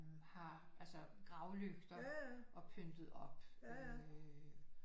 Har altså gravlygter og pyntet op øh